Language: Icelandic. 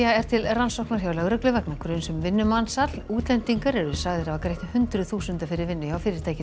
til rannsóknar hjá lögreglu vegna gruns um vinnumansal útlendingar eru sagðir hafa greitt hundruð þúsunda fyrir vinnu hjá fyrirtækinu